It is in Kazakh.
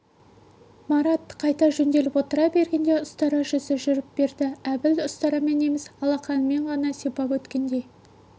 марат қайта жөнделіп отыра бергенде ұстара жүзі жүріп берді әбіл ұстарамен емес алақанымен ғана сипап өткендей